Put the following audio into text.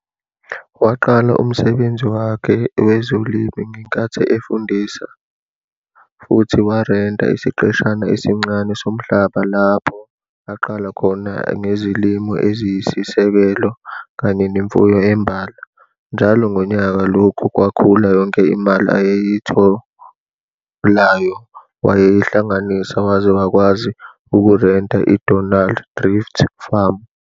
Waqala umsebenzi wakhe wezolimo ngenkathi efundisa futhi warenta isiqeshana esincane somhlaba lapho aqala khona ngezilimo eziyisisekelo kanye nemfuyo embala. Njalo ngonyaka lokhu kwakhula yonke imali ayeyitholayo wayeyihlanganisa waze wakwazi ukurenta i-Donald Drift Farm.